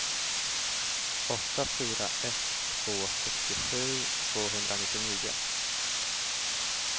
åtta fyra ett två sextiosju tvåhundranittionio